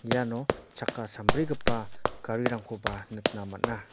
iano chakka sambrigipa garirangkoba nikna man·a.